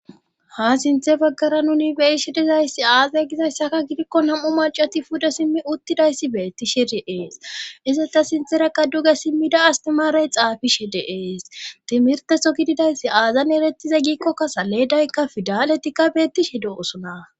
ha sinthe baggara nuni beyishe dizayssi aazay gizayssaka gidikko nam7u macati pude simmi uttidayssi beetti shiri ees iseta sintherakqa duge simmida astimaarey xaafishe de7ees timirteho gididayssi aazan erettiza giikkokka saleedaykka fidaletikka beettishe do7osona